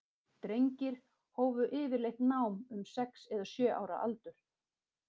Drengir hófu yfirleitt nám um sex eða sjö ára aldur.